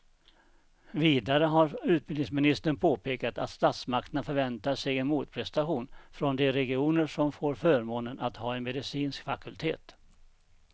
Vidare har utbildningsministern påpekat att statsmakterna förväntar sig en motprestation från de regioner som får förmånen att ha en medicinsk fakultet.